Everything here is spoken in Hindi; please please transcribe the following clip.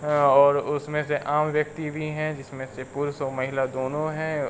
और उसमें से आम व्यक्ति भी हैं जिसमें से पुरुष और महिला दोनों हैं।